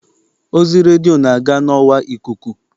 Ozi redio na-aga n'ọwa ikuku.